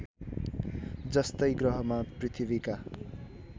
जस्तै ग्रहमा पृथ्वीका